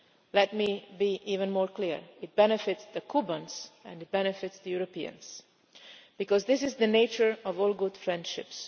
Let me be even clearer it benefits the Cubans and it benefits the Europeans, because this is the nature of all good friendships.